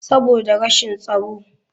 Saboda rashin tsaro.